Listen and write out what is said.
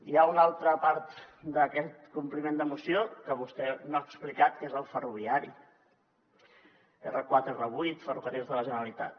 hi ha una altra part d’aquest compliment de moció que vostè no ha explicat que és el ferroviari r4 r8 ferrocarrils de la generalitat